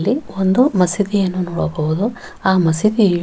ಇಲ್ಲಿ ಒಂದು ಮಸೀದಿಯನ್ನು ನೋಡಬಹುದು ಆ ಮಸೀದಿಯು --